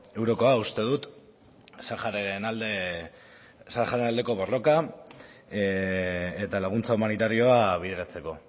eurokoa uste dut sahararen alde sahararen aldeko borroka eta laguntza humanitarioa bideratzeko